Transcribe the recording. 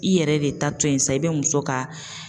I yɛrɛ de ta to yen sa i bɛ muso ka.